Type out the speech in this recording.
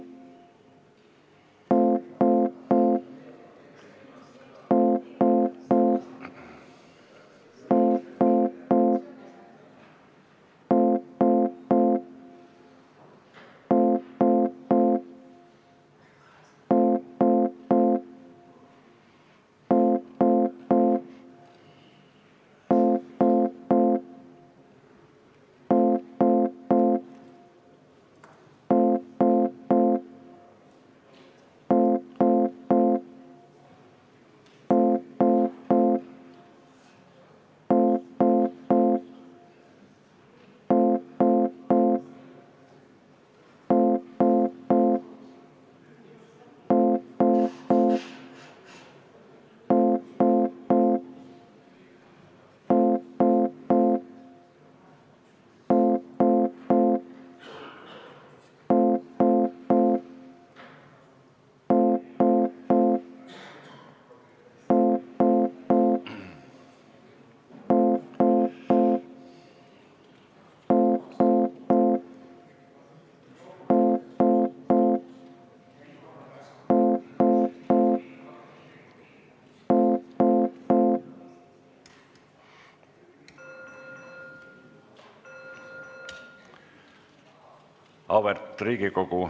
Auväärt Riigikogu!